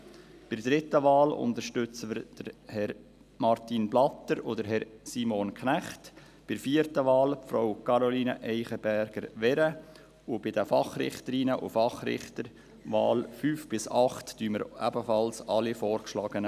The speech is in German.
Bei der dritten Wahl unterstützen wir Herrn Martin Blatter und Herrn Simon Knecht, bei der vierten Wahl Frau Caroline Eichenberger-Wehren, und bei den Fachrichterinnen und Fachrichtern, Wahl 5 bis 8, unterstützen wir ebenfalls alle Vorgeschlagenen.